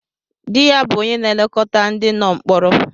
Dị ya bụ onye na-elekọta ndị nọ mkpọrọ.